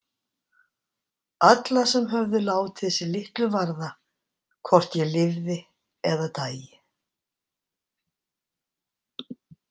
Alla sem höfðu látið sig litlu varða hvort ég lifði eða dæi.